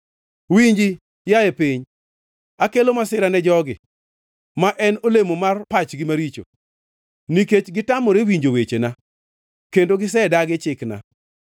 Winji, yaye piny: Akelo masira ne jogi, ma en olemo mar pachgi maricho, nikech gitamore winjo wechena, kendo gisedagi chikna.